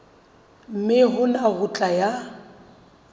mme hona ho tla ya